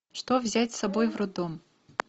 что взять с собой в роддом